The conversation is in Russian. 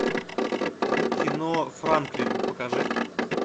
кино франклин покажи